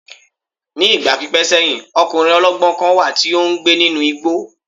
Ní ìgbà pípẹ́ sẹ́yìn, ọkùnrin ọlọ́gbọ́n kan wà tí ó ń gbé nínú igbó